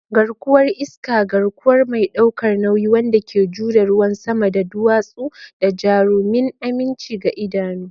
Garkuwar iska, garkuwa mai ɗaukar nauyi wanda ke jure ruwan sama da duwatsu, da jarumin aminci ga idanu.